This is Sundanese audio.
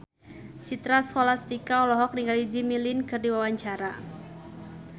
Citra Scholastika olohok ningali Jimmy Lin keur diwawancara